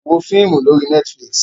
Wo fíímù lórí Netflix!